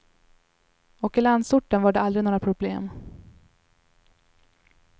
Och i landsorten var det aldrig några problem.